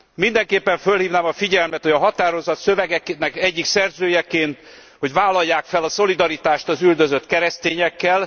Mindenképpen fölhívnám a figyelmet, hogy a határozat szövegének egyik szerzőjeként, hogy vállalják fel a szolidaritást az üldözött keresztényekkel!